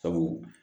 Sabu